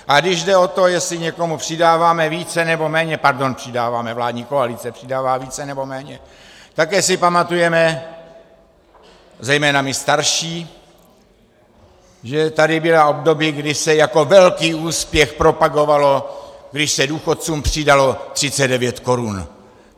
A když jde o to, jestli někomu přidáváme více, nebo méně - pardon, přidáváme, vládní koalice přidává více nebo méně, také si pamatujeme, zejména my starší, že tady byla období, kdy se jako velký úspěch propagovalo, když se důchodcům přidalo 39 korun.